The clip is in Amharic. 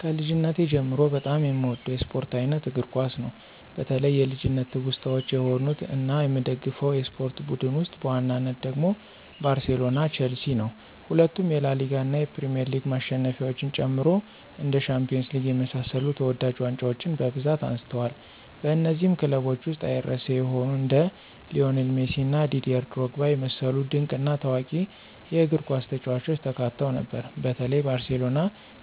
ከልጅነቴ ጀምሮ በጣም የምወደው የስፖርት አይነት እግር ኳስ ነው። በተለይ የልጅነት ትውስታዎች የሆኑት እና የምደግፈው የስፖርት ቡድን ውስጥ በዋናነት ደግሞ ባርሴሎና ቸልሲ ነው። ሁለቱም የላሊጋ እና የፕሪሚየር ሊግ ማሸነፊያዎችን ጨምሮ እንደ ሻምፒዮንስ ሊግ የመሳሰሉ ተወዳጅ ዋንጫዎችን በብዛት አንስተዋል። በነዚህም ክለቦች ውስጥ አይረሴ የሆኑ እንደ ሊዎኔል ሜሲ እና ዲዴር ድሮግባ የመሰሉ ድንቅ እና ታዋቂ የእግርኳስ ተጫዋቾች ተካተው ነበር። በተለይ ባርሴሎና